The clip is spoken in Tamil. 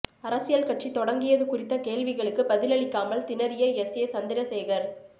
அரசியல் கட்சி தொடங்கியது குறித்த கேள்விகளுக்கு பதிலளிக்காமல் திணறிய எஸ் ஏ சந்திரசேகர்